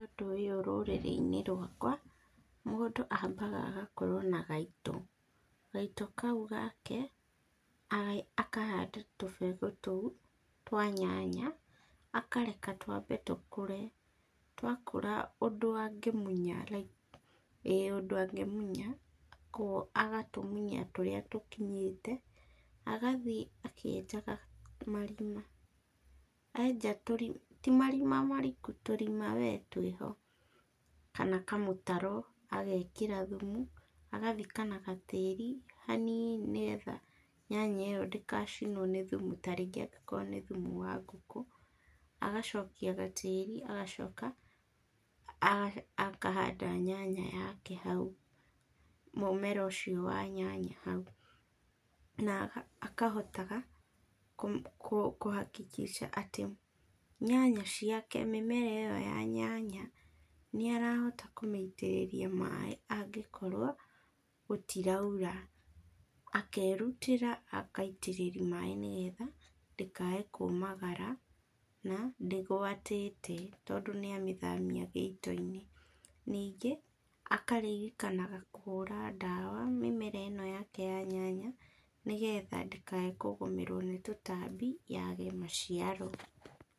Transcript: Ũndũ ũyũ rũrĩrĩ-inĩ rwakwa, mũndũ ambaga agakorwo na gaito, gaito kau gake akahanda tũbegũ tũu twa nyanya, akareka twambe tũkũre, twakũra ũndũ angĩmunya, ĩ ũndũ angĩmunya, koguo agatũmunya tũrĩa tũkinyĩte, agathi akĩenjaga marima, enja tũri ti marima mariku, tũrima we twĩho, kana kamũtaro, agekĩra thumu, agathika na tĩri hanini nĩgetha nyanya ĩyo ndĩgacinwo nĩ thumu tarĩngĩ angĩkorwo nĩ thumu ta wa ngũkũ, agacokia gatĩri, agacoka a akahanda, nyanya yake hau, mũmera ũcio wa nyanya hau, na akahotaga, kũm kũhakikishaga atĩ, nyanya ciake, mĩmera ĩyo ya nyanya, nĩarahota kũmĩitĩrĩria maĩ, angĩkorwo, gũtiraura, akerutĩra akaitĩtĩti maĩ nĩgetha, ndĩkae kũmagara, na, ndígwatĩte tondũ nĩamĩthamia gĩito-inĩ, ningĩ akaririkanaga kũhũra ndawa mĩmera íno yake ya nyanya nĩgetha ndĩkae kũgũmĩrwo nĩ tũtambi yage maciaro.